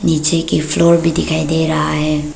पीछे की फ्लोर भी दिखाई दे रहा है।